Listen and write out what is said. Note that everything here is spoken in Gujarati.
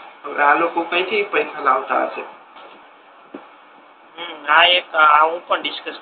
આ લોકો કઈ થી પૈસા લાવતા હસે હમ